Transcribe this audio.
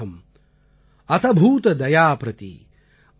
ந ஆத்மார்த்தம் ந அபி காமார்த்தம் அதபூத தயாம் ப்ரதி